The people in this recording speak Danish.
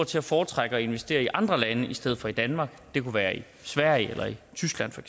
til at foretrække at investere i andre lande i stedet for i danmark det kunne være i sverige eller i tyskland for